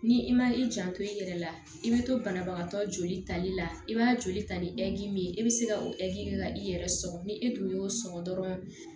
Ni i ma i jan to i yɛrɛ la i be to banabagatɔ joli tali la i b'a joli ta ni min ye i be se ka o i yɛrɛ sɔgɔ ni e dun y'o sɔgɔ dɔrɔn